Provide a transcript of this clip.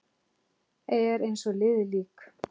Er eins og liðið lík.